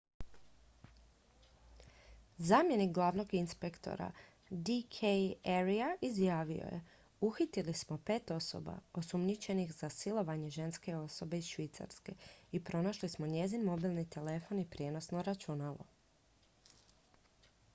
zamjenik glavnog inspektora d k arya izjavio je uhitili smo pet osoba osumnjičenih za silovanje ženske osobe iz švicarske i pronašli smo njezin mobilni telefon i prijenosno računalo